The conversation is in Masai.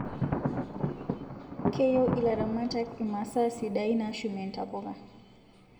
Keyieu ilaramatak imasaa sidain nashumie ntapuka